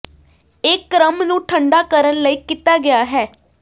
ਇਹ ਕ੍ਰਮ ਨੂੰ ਠੰਢਾ ਕਰਨ ਲਈ ਕੀਤਾ ਗਿਆ ਹੈ